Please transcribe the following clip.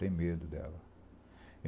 Tem medo dela.